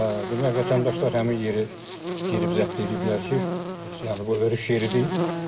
Demək, vətəndaşlar həmin yeri girib zəbt eləyiblər ki, yəni bu örüş yeridir.